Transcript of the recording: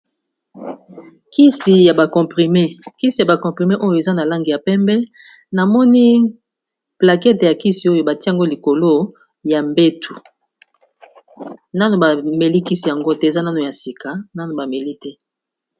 Ksi ya ba comprime, kisi ya ba comprime oyo eza na langi ya pembe namoni plaquete ya kisi oyo batie ngo likolo ya mbetu. Nanu ba meli kisi yango te, eza nano ya sika nanu ba meli te.